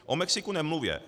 O Mexiku nemluvě.